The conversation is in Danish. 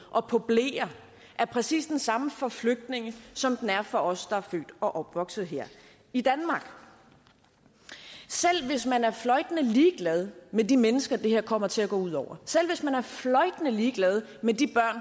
og på bleer er præcis den samme for flygtninge som den er for os der er født og opvokset her i danmark selv hvis man er fløjtende ligeglad med de mennesker det her kommer til at gå ud over selv hvis man er fløjtende ligeglad med de